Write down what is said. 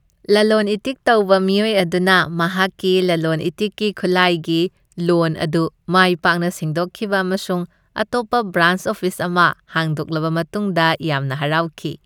ꯂꯂꯣꯟ ꯏꯇꯤꯛ ꯇꯧꯕ ꯃꯤꯑꯣꯏ ꯑꯗꯨꯅ ꯃꯍꯥꯛꯀꯤ ꯂꯂꯣꯟ ꯏꯇꯤꯛꯀꯤ ꯈꯨꯠꯂꯥꯏꯒꯤ ꯂꯣꯟ ꯑꯗꯨ ꯃꯥꯏ ꯄꯥꯛꯅ ꯁꯤꯡꯗꯣꯛꯈꯤꯕ ꯑꯃꯁꯨꯡ ꯑꯇꯣꯞꯄ ꯕ꯭ꯔꯥꯟꯆ ꯑꯣꯐꯤꯁ ꯑꯃ ꯍꯥꯡꯗꯣꯛꯂꯕ ꯃꯇꯨꯡꯗ ꯌꯥꯝꯅ ꯍꯔꯥꯎꯈꯤ꯫